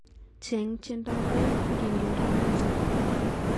Chang tiendoab aeng akiureren noto